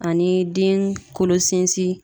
Ani den kolo sinsin